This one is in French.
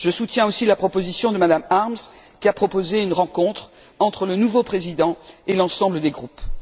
Je soutiens aussi la proposition de M me Harms, qui a proposé une rencontre entre le nouveau président et l'ensemble des groupes.